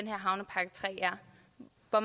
hvor